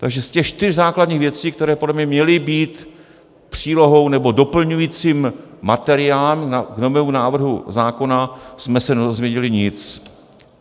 Takže z těch čtyř základních věcí, které podle mě měly být přílohou nebo doplňujícím materiálem v novém návrhu zákona, jsme se nedozvěděli nic.